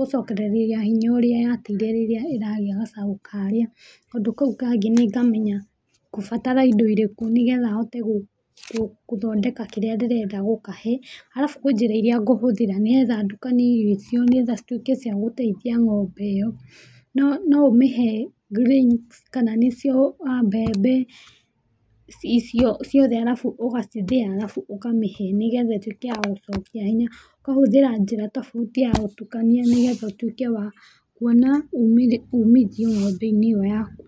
gũcokereria hinya ũrĩa yateire rĩrĩa ĩragia gacaũ karĩa. Kaũndũ kau kangĩ nĩ ngamenya ngũbatara indo irĩkũ nĩgetha hote gũthondeka kĩrĩa ndĩrenda gũkahe. Arabu kwĩ njĩra iria ngũhũthĩra nĩgetha ndukanie irio icio nĩgetha ituĩke cia gũteithia ng'ombe ĩyo. No ũmĩhe grains, nĩ cio a mbembe, icio ciothe arabu ũgacithĩya, arabu ũkamĩhe nĩgetha ĩĩtuĩke ya gũcokia hinya, koguo hũthagĩra njĩra ya gũtukania nĩguo ngatuĩka wa kũmĩhe nĩgetha ũkona ũmithio ng'ombe-inĩ ĩyo yaku.